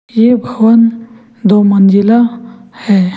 ये भवन दो मंजिला है।